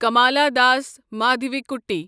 Kamala Das Madhavikutty